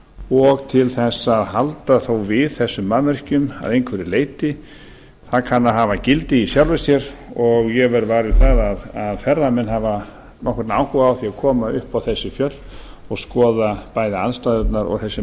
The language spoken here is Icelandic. og til að halda þó við þessum mannvirkjum að einhverju leyti það kann að hafa gildi í sjálfu sér og ég verð var við það að ferðamenn hafa nokkurn áhuga á því að koma upp á þessi fjöll og skoða bæði aðstæðurnar og þessi